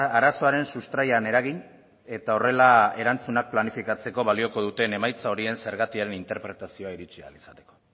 arazoaren sustraian eragin eta horrela erantzunak planifikatzeko balioko duten emaitza horien zergatiaren interpretazioa iritsi ahal izateko